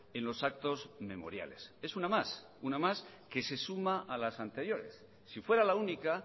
en los actos memoriales es una más una más que se suma a las anteriores si fuera la única